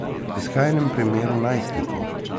V skrajnem primeru najstniki!